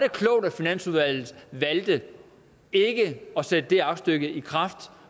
klogt at finansudvalget valgte ikke at sætte det aktstykke i kraft